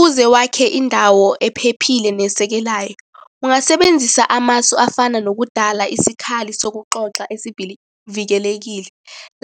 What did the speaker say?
Uze wakhe indawo ephephile nesekelayo, ungasebenzisa amasu afana nokudala isikhali sokuxoxa esivikelekile.